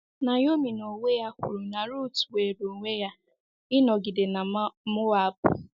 Naomi n’onwe ya kwuru na Ruth nwere onwe ya ịnọgide na Moab